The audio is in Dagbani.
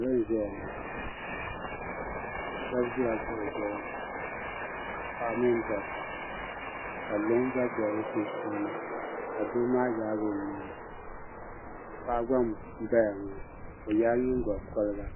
Salo n ʒɛya ŋo shab ʒila kuɣu zuɣu paɣaba mini dabba ka luŋ gba bɛ bi sunsuuni ka doo maa yaagi o nuwa paɣa gba n gbaya ŋo o yɛla nyingokoriga